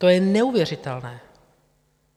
To je neuvěřitelné.